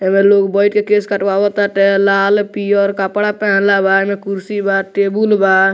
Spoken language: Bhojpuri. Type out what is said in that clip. सबे लोग बइठ के केस कटवाव ताटे लाल पियर कपड़ा पहिनले बा एमए कुर्सी बा टेबुल बा।